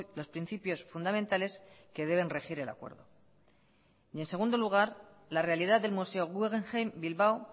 los principios fundamentales que deben regir el acuerdo y en segundo lugar la realidad del museo guggenheim bilbao